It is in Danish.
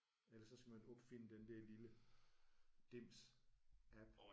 Eller så skal man opfinde den der lille dims app